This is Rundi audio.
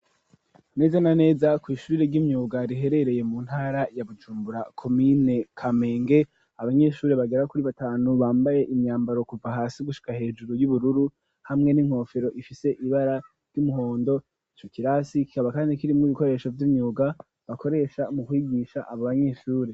Neza na neza kw' ishuri ry'imyuga ,riherereye mu ntara ya Bujumbura ,komine kamenge, abanyeshuri bagera kuri batanu bambaye imyambaro kuva hasi gushika hejuru y'ubururu ,hamwe n'inkofero ifise ibara ry'umuhondo ,cokirasi kikaba kandi kirimwo ibikoresho vy'imyuga, bakoresha mu kwigisha abo banyeshuri.